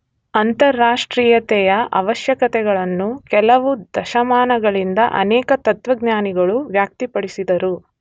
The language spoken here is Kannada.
ಅಂತಾರಾಷ್ಟ್ರೀಯತೆಯ ಆವಶ್ಯಕತೆಗಳನ್ನು ಕೆಲವು ದಶಮಾನಗಳಿಂದ ಅನೇಕ ತತ್ತ್ವಜ್ಞಾನಿಗಳು ವ್ಯಕ್ತಪಡಿಸಿದರು.